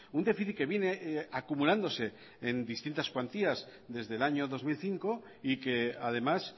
un déficit que viene acumulándose en distintas cuantías desde el año dos mil cinco y que además